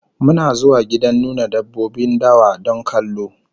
Muna zuwa gidan nuna dabbobin dawa don kallo